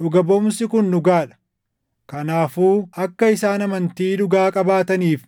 Dhuga baʼumsi kun dhugaa dha. Kanaafuu akka isaan amantii dhugaa qabaataniif